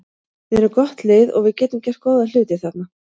Við erum gott lið og við getum gert góða hluti þarna.